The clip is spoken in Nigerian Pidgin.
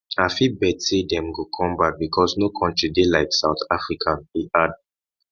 i fit bet say dem go come back because no country dey like south africa e add